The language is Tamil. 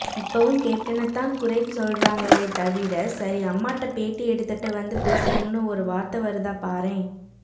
இப்பவும் கேப்டனத்தான் குறை சொல்றாங்களே தவிர சரி அம்மாட்ட பேட்டி எடுத்துட்டு வந்து பேசுறோம்ன்னு ஒரு வார்த்தை வருதா பாரேன்